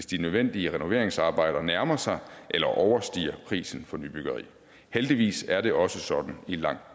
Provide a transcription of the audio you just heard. de nødvendige renoveringsarbejder nærmer sig eller overstiger prisen for nybyggeri heldigvis er det også sådan i langt